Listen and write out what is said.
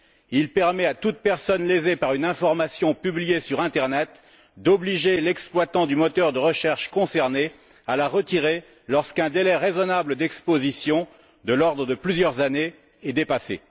Il permet à toute personne lésée par une information publiée sur l'internet d'obliger l'exploitant du moteur de recherche concerné à la retirer lorsqu'un délai raisonnable d'exposition, de l'ordre de plusieurs années, est dépassé.